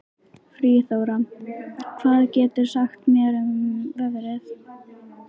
Friðþóra, hvað geturðu sagt mér um veðrið?